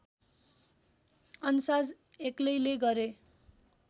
अन्साज एक्लैले गरे